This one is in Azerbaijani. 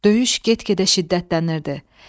Döyüş get-gedə şiddətlənirdi.